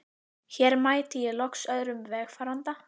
Hér mæti ég loks öðrum vegfaranda.